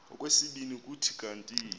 okwesibini kuthi kanti